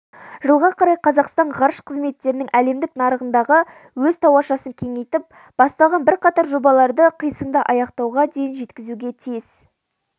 жылға қарай қазақстан ғарыш қызметтерінің әлемдік нарығындағы өз тауашасын кеңейтіп басталған бірқатар жобаларды қисынды аяқтауға дейін жеткізуге тиіс